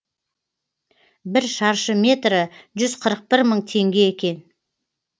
бір шаршы метрі жүз қырық бір мың теңге екен